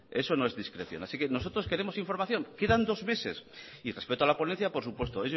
eso no es discreción así que nosotros queremos información quedan dos meses y respecto a la ponencia por supuesto